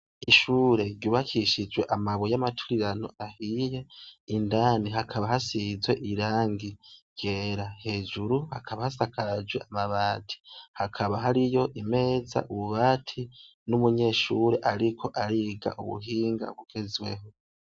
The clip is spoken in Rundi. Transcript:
Ishure ryubakishijwe amabuye amatuirano ahiye indani hakaba hasizwe irangi ryera hejuru hakaba hasakajwe amabati hakaba hari yo imeza ububati n'umunyeshure, ariko ariga ubuhinga bugezweho.